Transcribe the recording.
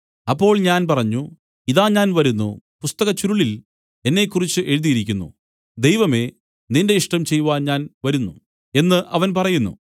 അപ്പോൾ ഞാൻ പറഞ്ഞു ഇതാ ഞാൻ വരുന്നു പുസ്തകച്ചുരുളിൽ എന്നെക്കുറിച്ച് എഴുതിയിരിക്കുന്നു ദൈവമേ നിന്റെ ഇഷ്ടം ചെയ്‌വാൻ ഞാൻ വരുന്നു എന്നു അവൻ പറയുന്നു